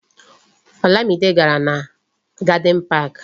Olamide gàrà na Garden Park